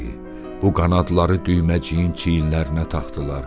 Bu qanadları düyməciyin çiyinlərinə taxdılar.